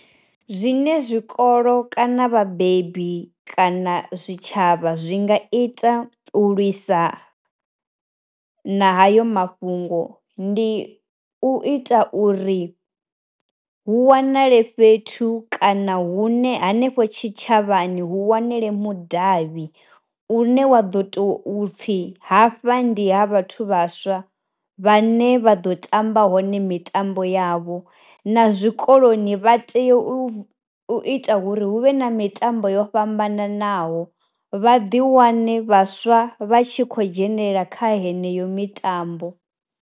Zwine zwikolo kana vhabebi kana zwitshavha zwi nga ita u lwisa na hayo mafhungo, ndi u ita uri hu wanale fhethu kana hune hanefho tshi tshavhani hu wanele mudavhi u ne wa ḓo tou pfhi hafha ndi ha vhathu vhaswa vhane vha ḓo tamba hone mitambo yavho, na zwikoloni vha tea u ita uri hu vhe na mitambo yo fhambananaho, vha ḓi wane vhaswa vha tshi khou dzhenelela kha heneyo mitambo.